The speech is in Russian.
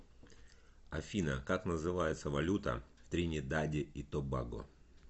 афина как называется валюта в тринидаде и тобаго